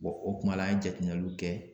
Bɔn o kumala an ye jateminɛluw kɛ